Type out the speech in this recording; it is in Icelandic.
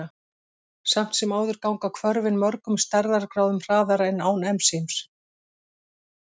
Samt sem áður ganga hvörfin mörgum stærðargráðum hraðar en án ensíms.